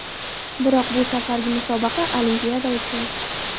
Biroq bu safargi musobaqa Olimpiada uchun.